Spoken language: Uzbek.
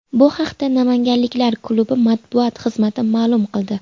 Bu haqda namanganliklar klubi matbuot xizmati ma’lum qildi .